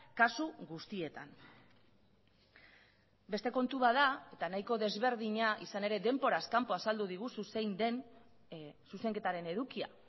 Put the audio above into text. kasu guztietan beste kontu bat da eta nahiko desberdina izan ere denboraz kanpo azaldu diguzu zein den zuzenketaren edukia